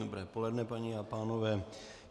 Dobré poledne, paní a pánové.